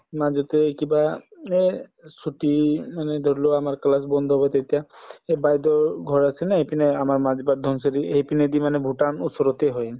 মাজতে এই কিবা এই ছুটী মানে ধৰিলোৱা আমাৰ class বন্ধ হব তেতিয়া এই বাইদেউৰ ঘৰ আছে না এইপিনে আমাৰ ধনচিৰী সেইপিনেদি মানে ভূটান ওচৰতে হয়